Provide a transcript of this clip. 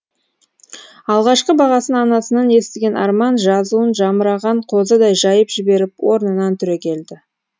алғашқы бағасын анасынан естіген арман жазуын жамыраған қозыдай жайып жіберіп орнынан түрегелді